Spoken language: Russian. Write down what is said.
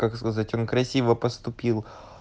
как сказать он красиво поступил